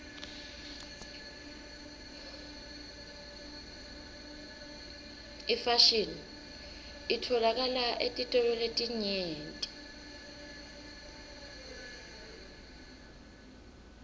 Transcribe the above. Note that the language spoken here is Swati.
ifashini itfolakala etitolo letinyenti